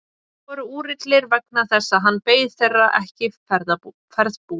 Þeir voru úrillir vegna þess að hann beið þeirra ekki ferðbúinn.